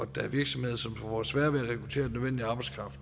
der er virksomheder som får sværere ved